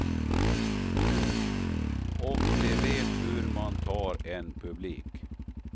Och de vet hur man tar en publik.